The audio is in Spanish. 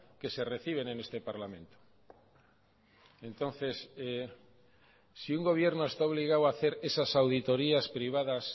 que se reciben en este parlamento entonces si un gobierno está obligado a hacer esas auditorías privadas